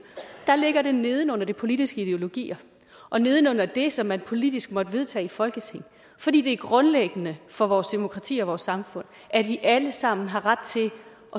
ligger det neden under de politiske ideologier og neden under det som man politisk måtte vedtage i folketinget fordi det er grundlæggende for vores demokrati og vores samfund at vi alle sammen har ret til at